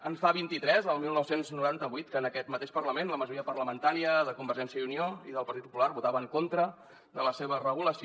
en fa vint i tres el dinou noranta vuit que en aquest mateix parlament la majoria parlamentària de convergència i unió i del partit popular votava en contra de la seva regulació